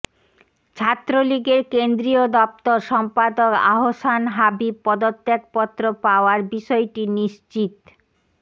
ছাত্রলীগের কেন্দ্রীয় দপ্তর সম্পাদক আহসান হাবিব পদত্যাগপত্র পাওয়ার বিষয়টি নিশ্চিত